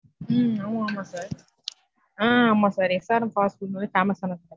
உம் ஆமா ஆமா. ஆஹ் ஆமா sir SRM fast food வந்து famous ஆனது